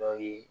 Dɔw ye